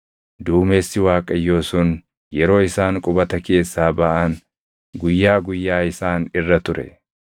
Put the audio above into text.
Duumessi Waaqayyoo sun yeroo isaan qubata keessaa baʼan guyyaa guyyaa isaan irra ture.